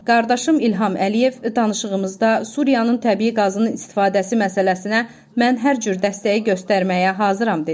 Qardaşım İlham Əliyev danışığımızda Suriyanın təbii qazının istifadəsi məsələsinə mən hər cür dəstəyi göstərməyə hazıram dedi.